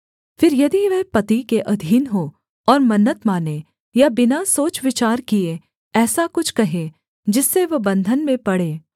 फिर यदि वह पति के अधीन हो और मन्नत माने या बिना सोच विचार किए ऐसा कुछ कहे जिससे वह बन्धन में पड़े